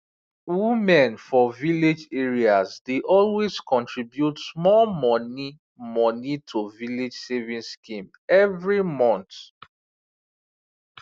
women for village areas dey always contribute small money money to village savings schemes every month